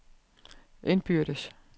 indbyrdes